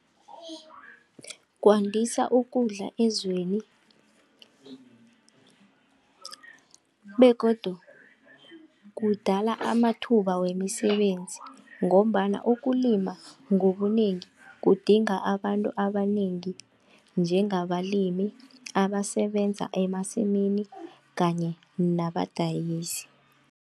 Kwandisa ukudla ezweni begodu kudala amathuba wemisebenzi ngombana ukulima ngobunengi kudinga abantu abanengi njengabalimi abasebenza emasimini kanye nabadayisi.